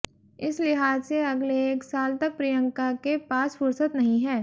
इस लिहाज से अगले एक साल तक प्रियंका के पास फुर्सत नहीं है